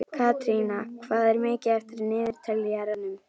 Katrína, hvað er mikið eftir af niðurteljaranum?